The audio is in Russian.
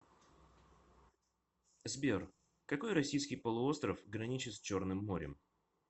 сбер какой российский полуостров граничит с черным морем